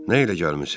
Nə ilə gəlmisiniz?